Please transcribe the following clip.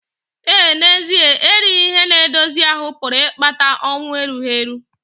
Ee, n'ezie erighị ihe na-edozi ahụ́ pụrụ ịkpata ọnwụ erughi eru.